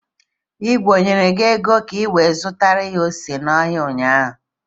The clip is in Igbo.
Igwe e nyere gi ego ka iwere zutara ya ose n'ahịa ụnyaahụ?